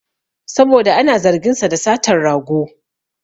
Saboda ana zargin sa da satan rago